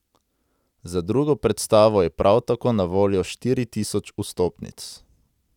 Za drugo predstavo je prav tako na voljo štiri tisoč vstopnic.